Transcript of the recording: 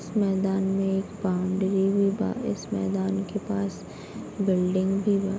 इस मैदान में एक बाउंड्री भी बा | इस मैदान के पास बिल्डिंग भी बा |